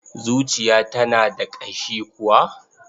Zuciya tana da ƙashi kuwa?